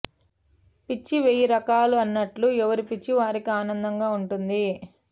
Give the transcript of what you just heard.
పిచ్చి వెయ్యి రకాలు అన్నట్టు ఎవరి పిచ్చి వారికి ఆనందంగా ఉంటుంది